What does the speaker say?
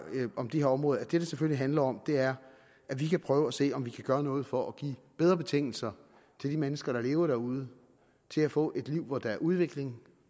om de her områder at det det selvfølgelig handler om er at vi kan prøve at se om vi kan gøre noget for at give bedre betingelser for de mennesker der lever derude til at få et liv hvor der er udvikling